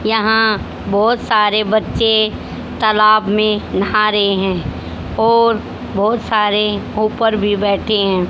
यहां बहुत सारे बच्चे तालाब में नहा रहे हैं और बहुत सारे ऊपर भी बैठे हैं।